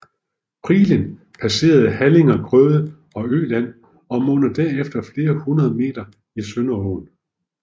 Prilen passerer halligerne Grøde og Øland og munder efter flere hundred meter i Sønderaaen